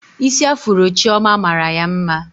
Isi afuro Chioma mara ya mma